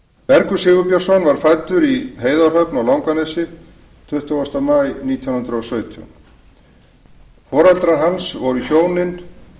bergur sigurbjörnsson var fæddur í heiðarhöfn á langanesi tuttugasta maí nítján hundruð og sautján foreldrar hans voru hjónin